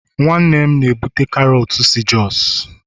nwannem na-ebute karọt si jos